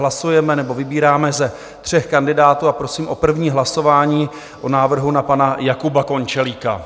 Hlasujeme nebo vybíráme ze tří kandidátů a prosím o první hlasování o návrhu na pana Jakuba Končelíka.